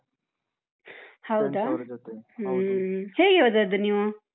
. ಹ್ಮ ಹೇಗೆ ಹೋದದ್ದು ನೀವು?